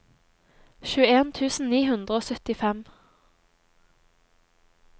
tjueen tusen ni hundre og syttifem